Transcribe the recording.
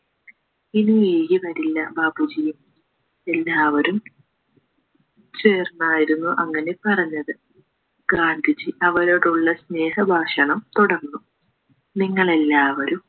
ഇനി വൈകിവരില്ല ബാപ്പുജി എല്ലാവരും ചേർന്നായിരുന്നു അങ്ങനെ പറഞ്ഞത് ഗാന്ധിജി അവരോടുള്ള സ്നേഹഭാഷണം തുടർന്നു നിങ്ങളെല്ലാവരും